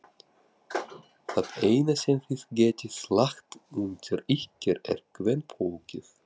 Það eina sem þið getið lagt undir ykkur er kvenfólkið!